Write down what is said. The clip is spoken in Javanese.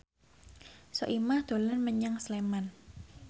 Soimah dolan menyang Sleman